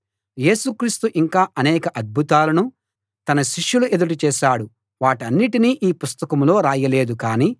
యేసు క్రీస్తు ఇంకా అనేక అద్భుతాలను తన శిష్యుల ఎదుట చేశాడు వాటన్నిటినీ ఈ పుస్తకంలో రాయలేదు